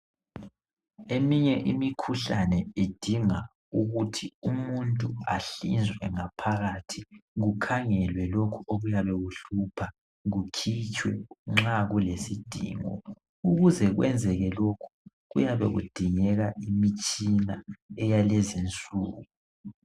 Eminye imikhuhlane idinga ukuthi umuntu ahlinzwe ngaphakathi kukhangelwe lokhu okuyabe kuhlupha kukhitshwe nxa kulesidingo ukuze kwenzeke lokhu kuyabe kudingeka imitshina eyalezinsuku.